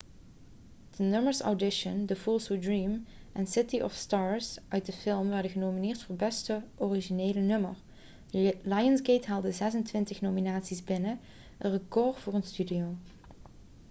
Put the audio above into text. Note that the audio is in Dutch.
de nummers audition the fools who dream en city of stars uit de film werden genomineerd voor beste originele nummer. lionsgate haalde 26 nominaties binnen een record voor een studio